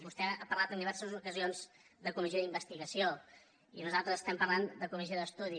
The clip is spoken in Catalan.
vostè ha parlat en diverses ocasions de comissió d’investigació i nosaltres estem parlant de comissió d’estudi